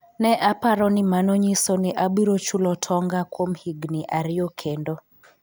Ne aparo ni mano nyiso ni abiro chulo tonga kuom higni ariyo kendo